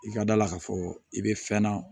I ka da la k'a fɔ i bɛ fɛn na